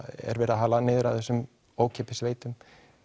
er verið að hala niður af þessum ókeypis veitum